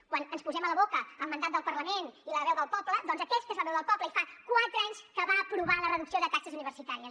quan ens posem a la boca el mandat del parlament i la veu del poble doncs aquesta és la veu del poble i fa quatre anys que va aprovar la reducció de taxes universitàries